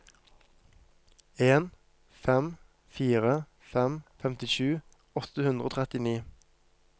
en fem fire fem femtisju åtte hundre og trettini